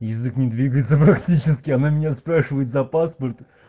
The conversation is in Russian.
язык не двигается практически она меня спрашивает за паспорт